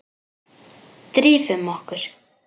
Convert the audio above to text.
Drífum okkur.